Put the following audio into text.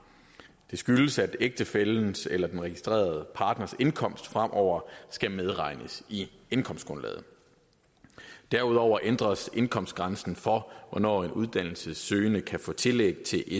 det skyldes at ægtefællens eller den registrerede partners indkomst fremover skal medregnes i indkomstgrundlaget derudover ændres indkomstgrænsen for hvornår en uddannelsessøgende kan få tillæg til